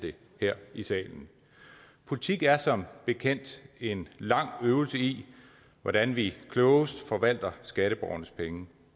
her i salen politik er som bekendt en lang øvelse i hvordan vi klogest forvalter skatteborgernes penge